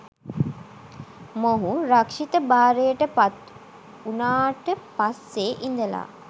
මොහු රක්ෂිත භාරයට පත් වුණාට පස්සේ ඉඳලා